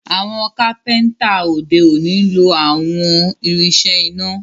Àwọn kápẹ́ńtà òde òni nlọ àwọn irinṣẹ́ iná